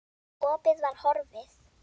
Opið var horfið.